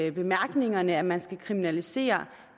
i bemærkningerne at man skal kriminalisere